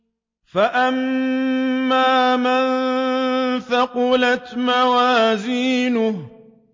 فَأَمَّا مَن ثَقُلَتْ مَوَازِينُهُ